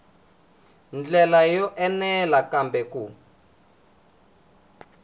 ndlela yo enela kambe ku